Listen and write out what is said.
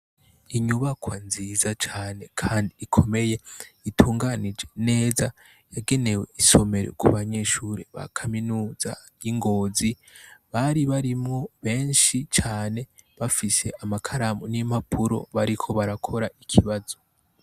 Inyubakwa nziza cane kandi ikomeye itunganije neza yagenewe isomero kubanyeshure ba kaminuza y' Ingozi bari barimwo benshi cane bafise amakaramu n' impapuro bariko barakora ikibazo.